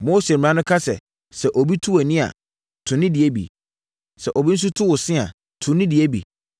“Mose mmara no ka sɛ, ‘Sɛ obi tu wʼani a, tu ne deɛ bi. Sɛ obi tu wo se nso a, tu ne deɛ bi.’